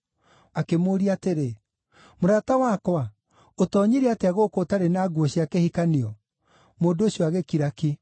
Akĩmũũria atĩrĩ, ‘Mũrata wakwa, ũtoonyire atĩa gũkũ ũtarĩ na nguo cia kĩhikanio?’ Mũndũ ũcio agĩkira ki.